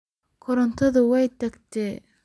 Korontadhi way tagtey.